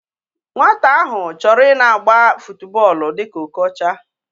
Nwata ahu choro ina agba futuboolu dika Okocha